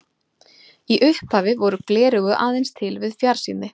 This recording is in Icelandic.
Í upphafi voru gleraugu aðeins til við fjarsýni.